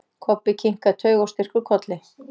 Kobbi kinkaði taugaóstyrkur kolli.